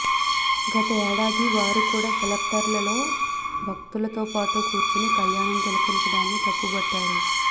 గత ఏడాది వారు కూడా సెక్టార్లలో భక్తులతోపాటు కూర్చుని కల్యాణం తిలకించడాన్ని తప్పుబట్టారు